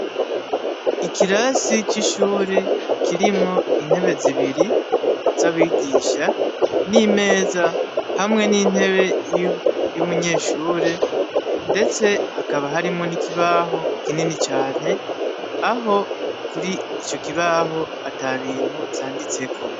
Ikirasi c'ishuri kirimwo intebe zibiri z'abigisha n'imeza hamwe n'intebe y'umunyeshure, ndetse hakaba harimwo n'ikibaho kinini cane aho kuri ico kibaho ata bintu vyanditseko.